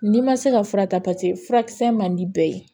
N'i ma se ka fura ta paseke furakisɛ man di bɛɛ ye